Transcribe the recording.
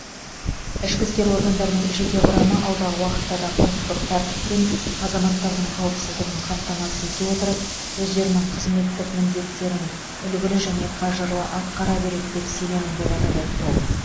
ішкі істер органдарының жеке құрамы алдағы уақытта да құқықтық тәртіп пен азаматтардың қауіпсіздігін қамтамасыз ете отырып өздерінің қызметтік міндеттерін үлгілі және қажырлы атқара береді деп сенемін атап өтті ол